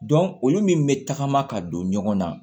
olu min bɛ tagama ka don ɲɔgɔn na